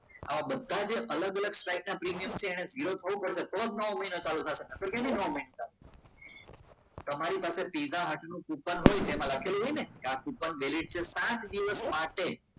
આવા બધા જે અલગ અલગ સ્ટ્રાઈકના પ્રીમિયમ છે એને ઝીરો થવું પડશે તો જ નવો મહિનો ચાલશે નહીં તો કેવી રીતે ચાલુ થશે તમારી પાસે પિજ્જા હટ નું કુપન હોય તેમ લખેલું હોય ને તે આ કુપન valied છે પાંચ દિવસ માટે